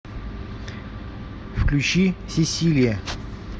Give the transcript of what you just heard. включи сесилия